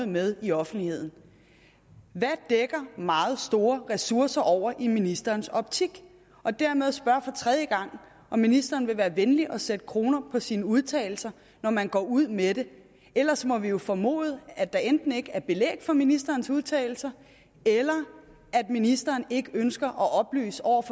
med i offentligheden hvad dækker meget store ressourcer over i ministerens optik dermed spørger jeg for tredje gang om ministeren vil være venlig at sætte kroner på sine udtalelser når man går ud med det ellers må vi jo formode at der enten ikke er belæg for ministerens udtalelser eller at ministeren ikke ønsker at oplyse